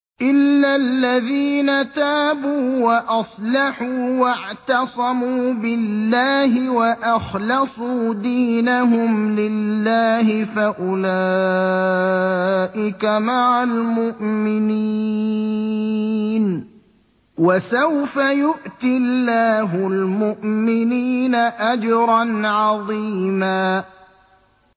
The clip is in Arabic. إِلَّا الَّذِينَ تَابُوا وَأَصْلَحُوا وَاعْتَصَمُوا بِاللَّهِ وَأَخْلَصُوا دِينَهُمْ لِلَّهِ فَأُولَٰئِكَ مَعَ الْمُؤْمِنِينَ ۖ وَسَوْفَ يُؤْتِ اللَّهُ الْمُؤْمِنِينَ أَجْرًا عَظِيمًا